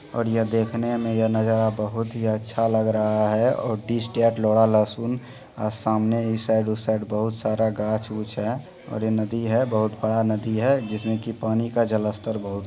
और यह देखने में यह नजारा बहुत ही अच्छा लग रहा है और दिस देट लहसुन अ सामने ई साइड ऊ साइड बहुत सारा गाछ उछ है और ये नदी है बहुत बड़ा नदी है जिस में कि पानी का जलस्तर बहुत है।